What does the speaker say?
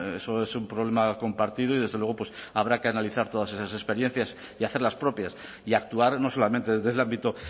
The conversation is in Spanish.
eso es un problema compartido y desde luego pues habrá que analizar todas esas experiencias y hacer las propias y actuar no solamente desde el ámbito